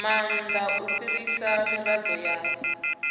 maanda u fhirisa mirado ya